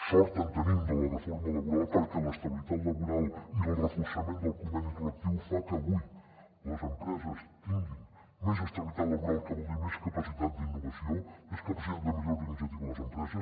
sort en tenim de la reforma laboral perquè l’estabilitat laboral i el reforçament del conveni col·lectiu fan que avui les empreses tinguin més estabilitat laboral que vol dir més capacitat d’innovació més capacitat de millorar la iniciativa de les empreses